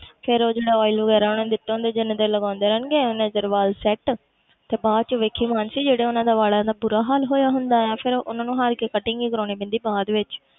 ਫਿਰ ਉਹ ਜਿਹੜਾ oil ਵਗ਼ੈਰਾ ਉਹਨਾਂ ਨੇ ਦਿੱਤਾ ਹੁੰਦਾ ਜਿੰਨੀ ਦੇਰ ਲਗਾਉਂਦੇ ਰਹਿਣਗੇ ਓਨੇ ਚਿਰ ਵਾਲ set ਤੇ ਬਾਅਦ 'ਚ ਦੇਖੀ ਮਾਨਸੀ ਜਿਹੜਾ ਉਹਨਾਂ ਦਾ ਵਾਲਾਂ ਦਾ ਬੁਰਾ ਹਾਲ ਹੋਇਆ ਹੁੰਦਾ ਹੈ, ਫਿਰ ਉਹਨਾਂ ਨੂੰ ਹਾਰ ਕੇ cutting ਹੀ ਕਰਵਾਉਣੀ ਪੈਂਦੀ ਬਾਅਦ ਵਿੱਚ।